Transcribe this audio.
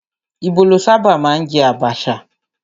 Íbò ló sábà máa ń jẹ àbàchà